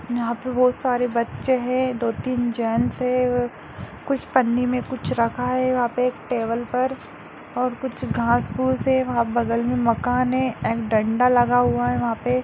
यहां पर बहुत सारे बच्चे है दो तिन जेंस है और कुछ पन्नी मैं कुछ रखा रखा है वहा पे टेबल पर और कुछ घास-फूस है वहा बगल में मकान है एंड डंडा लगा हुआ है वहा पे --